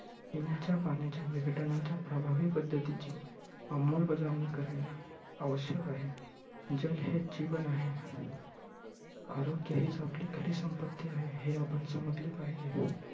पिण्याच्या पाण्याच्या विघटनाच्या प्रभावी पद्धतीची अंमलबजावणी करणे आवश्यक आहे. जल हे जीवन आहे. आरोग्य हिच आपली खरी संपत्ती आहे, हे आपण समजले पाहीजे.